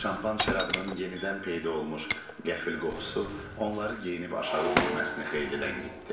Şampan şərabının yenidən peyda olmuş qəfil qoxusu onları geyinib aşağı düşməsini xeyli ləngitdi.